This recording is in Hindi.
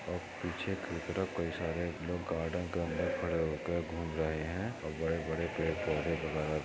और पीछे की तरफ कहीं सारे लोग गार्डन के अंदर खड़े होकर घूम रहे हैं और बड़े-बड़े पेड़ पौधे वगैरा--